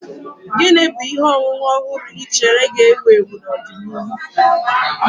Gini bu ihe ọṅụṅụ ọhụrụ ị chere ga-ewu ewu n'ọdịnihu?